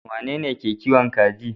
Wanene yake kiwon kaji?